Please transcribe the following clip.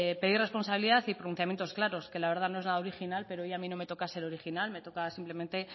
pedir responsabilidad y pronunciamientos claros que la verdad no es nada original pero a mí hoy no me toca ser original me toca simplemente